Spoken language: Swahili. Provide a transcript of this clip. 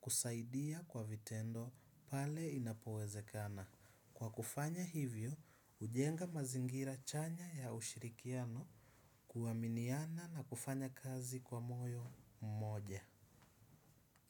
kusaidia kwa vitendo pale inapowezekana. Kwa kufanya hivyo, ujenga mazingira chanya ya ushirikiano kuaminiana na kufanya kazi kwa moyo mmoja.